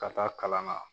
Ka taa kalan na